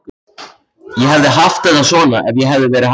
Ég hefði haft þetta svona ef ég hefði verið hann.